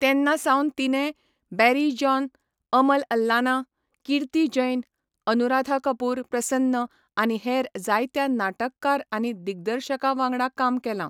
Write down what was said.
तेन्नासावन तिणें Barry John, Amal Allana, Kirti Jain, Anuradha Kapoor Prasanna आनी हेर जायत्या नाटककार आनी दिग्दर्शकां वांगडा काम केलां.